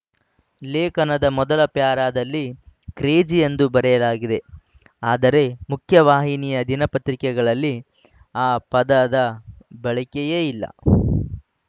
ಲೇಖನದ ಮೊದಲ ಪ್ಯಾರಾದಲ್ಲಿ ಕೇಜ್ರಿ ಎಂದು ಬರೆಯಲಾಗಿದೆ ಆದರೆ ಮುಖ್ಯವಾಹಿನಿಯ ದಿನಪತ್ರಿಕೆಗಳಲ್ಲಿ ಆ ಪದದ ಬಳಕೆಯೇ ಇಲ್ಲ